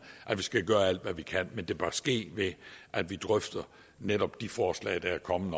at vi skal gøre alt hvad vi kan men det bør ske ved at vi drøfter netop de forslag der er kommet